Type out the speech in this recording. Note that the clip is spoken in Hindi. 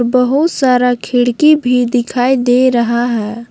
बहुत सारा खिड़की भी दिखाई दे रहा है।